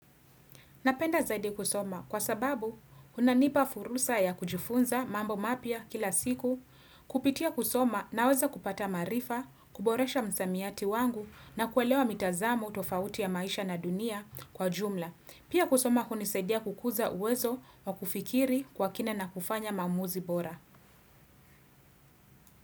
Napenda zaidi kusoma kwa sababu unanipa furusa ya kujifunza mambo mapya kila siku, kupitia kusoma naweza kupata maarifa, kuboresha msamiati wangu na kuelewa mitazamu tofauti ya maisha na dunia kwa jumla. Pia kusoma hunisaidia kukuza uwezo wa kufikiri kwa kina na kufanya maamuzi bora.